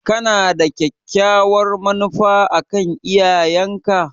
Kana da kyakkyawar manufa a kan iyayenka?